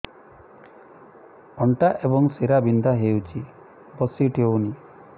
ଅଣ୍ଟା ଏବଂ ଶୀରା ବିନ୍ଧା ହେଉଛି ବସି ଉଠି ହଉନି